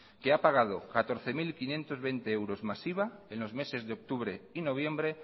que ha pagado catorce mil quinientos veinte euros más iva en los meses de octubre y noviembre